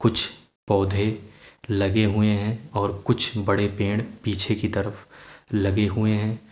कुछ पौधे लगे हुए हैं और कुछ बड़े पेड़ पीछे की तरफ लगे हुए हैं।